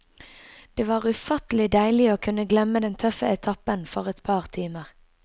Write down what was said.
Det var ufattelig deilig å kunne glemme den tøffe etappen for et par timer.